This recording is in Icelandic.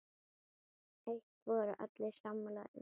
Eitt voru allir sammála um.